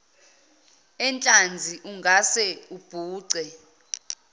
enhlanzi ungase ubhuce